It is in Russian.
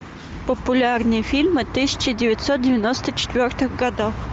популярные фильмы тысяча девятьсот девяносто четвертых годов